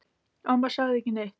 Amma sagði ekki neitt.